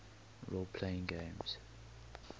role playing games